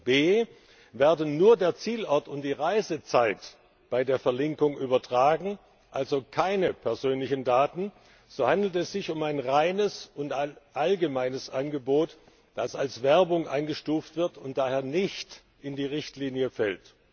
b Werden nur der Zielort und die Reisezeit bei der Verlinkung übertragen, also keine persönlichen Daten, so handelt es sich um ein reines und allgemeines Angebot, das als Werbung eingestuft wird, und daher nicht unter die Richtlinie fällt.